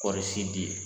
Kɔɔri sidi